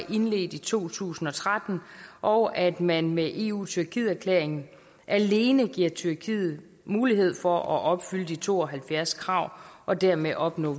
indledt i to tusind og tretten og at man med eu tyrkiet erklæringen alene giver tyrkiet mulighed for at opfylde de to og halvfjerds krav og dermed opnå